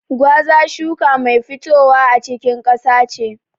Gwaza a shuka mai fitowa a cikin ƙasa ce.